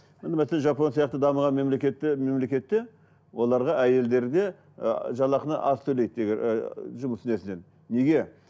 міне мәселе жапон сияқты дамыған мемлекетте мемлекетте оларға әйелдерде ы жалақыны аз төлейді жұмыс несінен неге